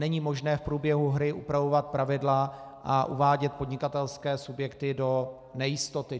Není možné v průběhu hry upravovat pravidla a uvádět podnikatelské subjekty do nejistoty.